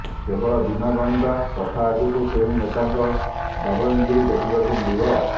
କେବଳ ଦିନ ଗଣିବା କଥା ଆଗକୁ କେଉଁ ନେତାଙ୍କ ଦବଙ୍ଗଗିରି ଦେଖିବାକୁ ମିଳିବ